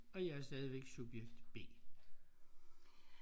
Og jeg er stadigvæk subjekt B